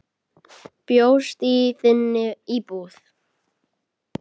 Bjóst í þinni íbúð.